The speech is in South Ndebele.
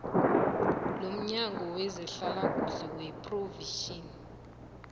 lomnyango wezehlalakuhle wephrovinsi